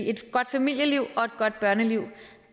et godt familieliv og et godt børneliv